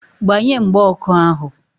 Gbanye mgba ọkụ ahu!